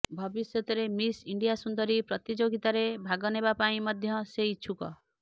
ଭବିଷ୍ୟତରେ Miss India ସୁନ୍ଦରୀ ପ୍ରତିଯୋଗିତାରେ ଭାଗନେବା ପାଇଁ ମଧ୍ୟ ସେ ଇଛୁକ